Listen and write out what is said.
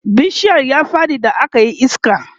bishiyar ya Faɗi da akayi iska